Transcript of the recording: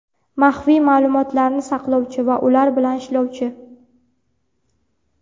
maxfiy maʼlumotlarni saqlovchi va ular bilan ishlovchi;.